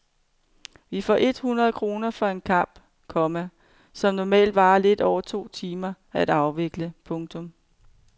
Vi får et hundrede kroner for en kamp, komma som normalt varer lidt over to timer at afvikle. punktum